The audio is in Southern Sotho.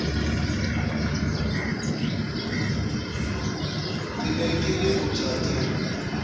ke ne ke le bothateng